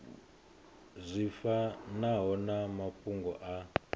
zwi fanaho na mafhungo a